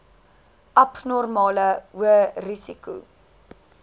abnormale hoë risiko